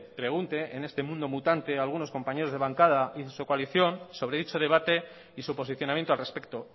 pregunte en este mundo mutante algunos compañeros de bancada y en su coalición sobre dicho debate y su posicionamiento al respecto